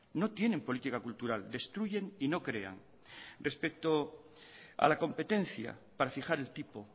no tienen política cultural destruyen y no crean respecto a la competencia para fijar el tipo